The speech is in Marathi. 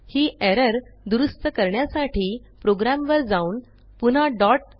ही एरर दुरूस्त करण्यासाठी प्रोग्रॅमवर जाऊन पुन्हा डॉट